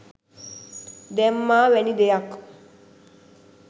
දැම්මා වැනි දෙයක්.